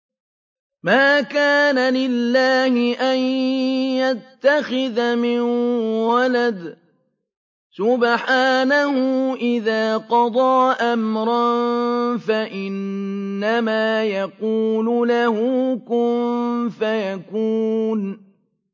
مَا كَانَ لِلَّهِ أَن يَتَّخِذَ مِن وَلَدٍ ۖ سُبْحَانَهُ ۚ إِذَا قَضَىٰ أَمْرًا فَإِنَّمَا يَقُولُ لَهُ كُن فَيَكُونُ